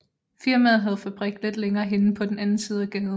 Firmaet havde fabrik lidt længere henne på den anden side af gaden